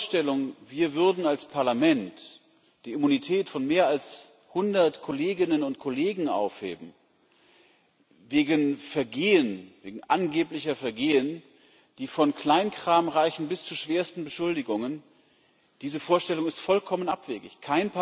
Aber die Vorstellung, wir würden als Parlament die Immunität von mehr als 100 Kolleginnen und Kollegen aufheben wegen angeblicher Vergehen, die von Kleinkram bis zu schwersten Beschuldigungen reichen diese Vorstellung ist vollkommen abwegig.